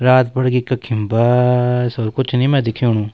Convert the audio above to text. रात पड़ गी कखिम बस-स-स और कुछ नि मैं दिखेणु।